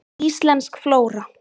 Íslensk flóra.